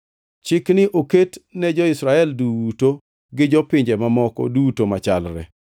Chikni oket ne jo-Israel duto gi jopinje mamoko duto machalre.”